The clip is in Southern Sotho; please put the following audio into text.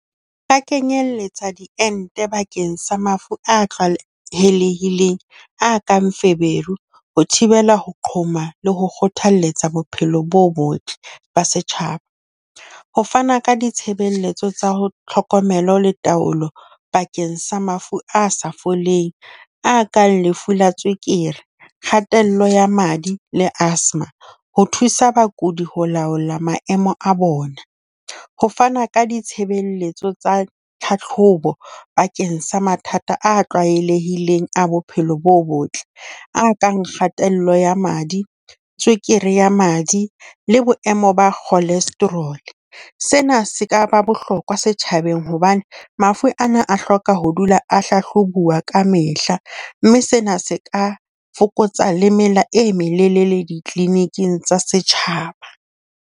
Ka kenyelletsa diente bakeng sa mafu a tlwaelehileng a kang feberu, ho thibela ho qhoma le ho kgothalletsa bophelo bo botle ba setjhaba. Ho fana ka ditshebeletso tsa ho tlhokomelo le taolo bakeng sa mafu a sa foleng a kang lefu la tswekere, kgatello ya madi le asthma. Ho thusa bakudi ho laola maemo a bona. Ho fana ka ditshebeletso tsa tlhahlobo bakeng sa mathata a tlwaelehileng a bophelo bo botle, a kang kgatello ya madi, tswekere ya madi le boemo ba cholesterol. Sena se ka ba bohlokwa setjhabeng hobane mafu ana a hloka ho dula a hlahlobuwa kamehla mme sena se ka fokotsa le melao e metelele le di-clinic-ng tsa setjhaba.